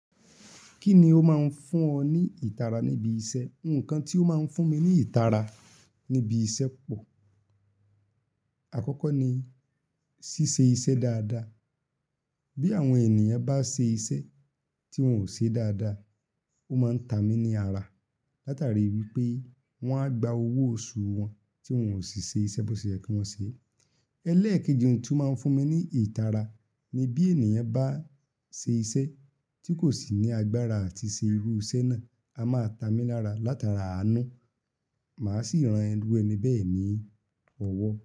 Kí ni ó máa ń fún ọ ní ìtara níbi iṣẹ́? Òǹkàn tí ó máa ń fún mi ní ìtara níbi iṣẹ́ pọ̀. Àkọ́kọ́ ni ṣíṣe iṣẹ́ dáadáa. Bí àwọn ènìyàn bá ṣe iṣẹ́ tí wọ́n ò ṣe dáadáa, ó máa ń ta mí ní ara látari wí pé wọ́n á gba owó oṣù wọn tí wọ́n ò sì ṣe iṣẹ́ bó ṣe yẹ kí wọ́n ṣe. Ẹlẹ́ẹ̀kejì ohun tí ó máa ń fún mi ní ìtara ni bí ènìyàn bá ṣe iṣẹ́ tí kò sì ní agbára àti ṣe irú iṣẹ́ náà, a máa ta mí lára látara àánú. Màá sì ran irú ẹni bẹ́ẹ̀ ní ọwọ́